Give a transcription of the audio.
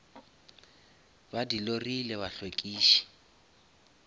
ba di lori le bahlwekiši